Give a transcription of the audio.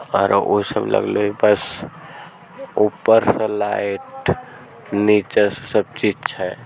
और उ सब लगलेइ बस ऊपर से लाइट नीचे सब चीज़ छै।